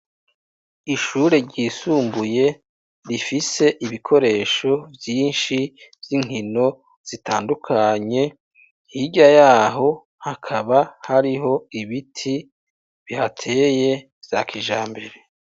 Ishure ryisumbuye rifise ibikoresho vyinshi vy'inkino zitandukanye, hirya yaho hakaba hariho ibiti bihateye vya kijambere.